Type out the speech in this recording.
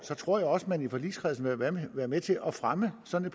tror jeg også at man i forligskredsen vil være med til at fremme sådan